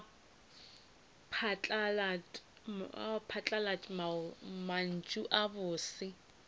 aga phatlalat mantšu a bose